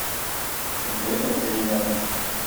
время перемен